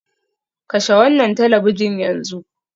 Kashe wannan talabijin yanzu.